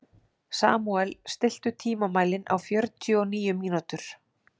Samúel, stilltu tímamælinn á fjörutíu og níu mínútur.